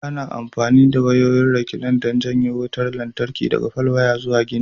Ana amfani da wayoyin rekilan don janyo wutar lantarki daga falwaya zuwa gini.